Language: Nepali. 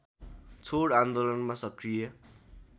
छोड आन्दोलनमा सक्रिय